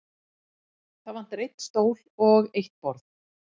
Það vantar einn stól og eitt borð.